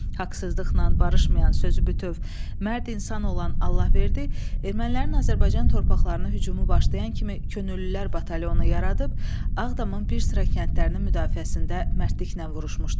Haqsızlıqla barışmayan, sözü bütöv, mərd insan olan Allahverdi ermənilərin Azərbaycan torpaqlarına hücumu başlayan kimi könüllülər batalyonu yaradıb, Ağdamın bir sıra kəndlərinin müdafiəsində mərdliklə vuruşmuşdu.